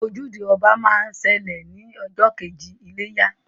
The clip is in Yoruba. Ojúde ọba máa ń ṣẹlẹ̀ ní ọjọ́ kejì iléyá